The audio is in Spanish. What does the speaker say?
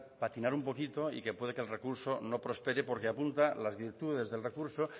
patinar un poquito y que puede que el recurso no prospere porque apunta las virtudes del recurso